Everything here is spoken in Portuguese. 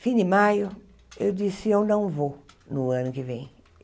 Fim de maio, eu disse, eu não vou no ano que vem.